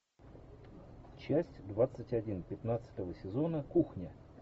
часть двадцать один пятнадцатого сезона кухня